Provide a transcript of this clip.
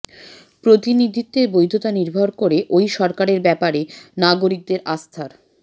প্রতিনিধিত্বের বৈধতা নির্ভর করে ওই সরকারের ব্যাপারে নাগরিকদের আস্থার